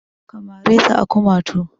Ka mare ta a kumatu!